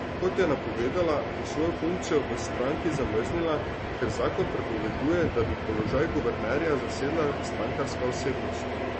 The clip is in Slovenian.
Kot je napovedala, bo svojo funkcijo v stranki zamrznila, ker zakon prepoveduje, da bi položaj guvernerja zasedala strankarska osebnost.